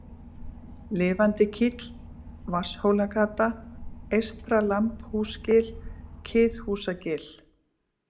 Lifandikíll, Vatnshólagata, Eystra-Lambhúsgil, Kiðhúsagil